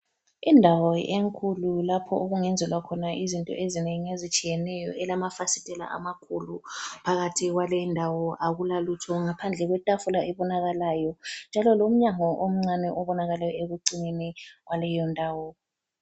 Indawo enkulu lapho okungenzelwa khona izinto ezinengi ezitshiyeneyo elamafasitela amakhulu. Phakathi kwalendawo akulalutho ngaphandle kwetafula ebonakalayo. Njalo lomnyango omncane obonakala ekucineni kwaleyo ndawo.